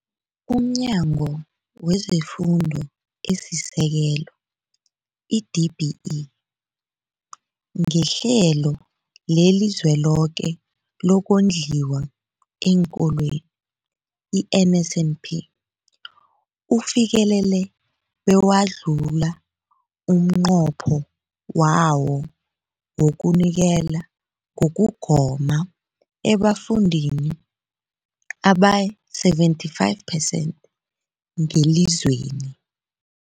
UmNyango wezeFundo esiSekelo, i-DBE, ngeHlelo leliZweloke lokoNdliwa eenKolweni, i-NSNP, ufikelele bewadlula umnqopho wawo wokunikela ngokugoma ebafundini abayi-75 phesenthi ngelizweni.